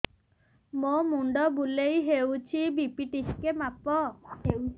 ମୋ ମୁଣ୍ଡ ବୁଲେଇ ହଉଚି ବି.ପି ଟିକେ ମାପ